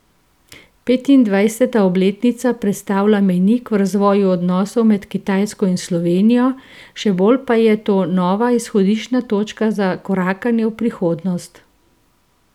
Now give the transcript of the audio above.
Petindvajseta obletnica predstavlja mejnik v razvoju odnosov med Kitajsko in Slovenijo, še bolj pa je to nova izhodiščna točka za korakanje v prihodnost.